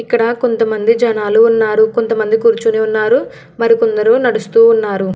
ఇక్కడ కొంతమంది జనాలు ఉన్నారు. కొంతమంది కూర్చుని ఉన్నారు మరి కొందరు నడుస్తూ ఉన్నారు.